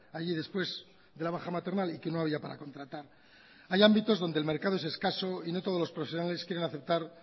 allí después de la baja maternal y que no había para contratar hay ámbitos donde el mercado es escaso y no todos los profesionales quieren aceptar